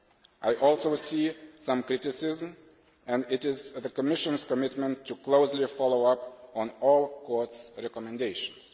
I also see some criticism and it is the Commission's commitment to closely follow up on all the Court's recommendations.